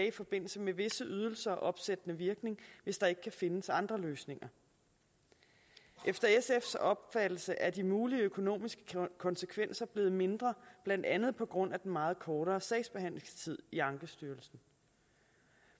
i forbindelse med visse ydelser opsættende virkning hvis der ikke kan findes andre løsninger efter sfs opfattelse er de mulige økonomiske konsekvenser blevet mindre blandt andet på grund af den meget kortere sagsbehandlingstid i ankestyrelsen